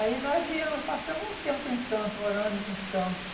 Aí nós viemos, passamos um tempo em Santos, morando em Santos.